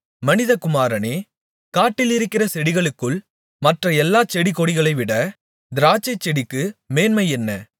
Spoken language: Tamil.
மனிதகுமாரனே காட்டிலிருக்கிற செடிகளுக்குள் மற்ற எல்லாச் செடிகொடிகளைவிட திராட்சைச்செடிக்கு மேன்மை என்ன